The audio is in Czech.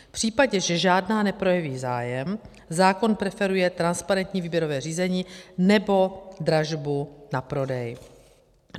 V případě, že žádná neprojeví zájem, zákon preferuje transparentní výběrové řízení nebo dražbu na prodej.